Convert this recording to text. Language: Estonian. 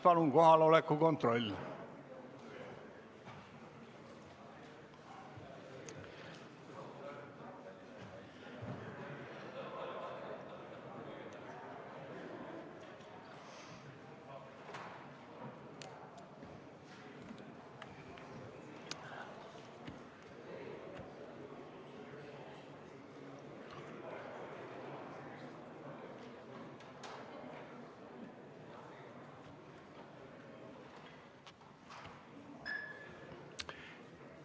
Palun kohaloleku kontroll!